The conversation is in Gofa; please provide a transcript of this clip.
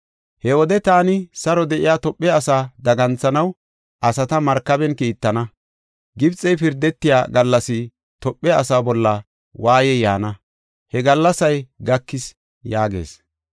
“He wode taani saro de7iya Tophe asaa daganthanaw asata markaben kiittana. Gibxey pirdetiya gallas Tophe asaa bolla waayey yaana. He gallasay gakis” yaagees.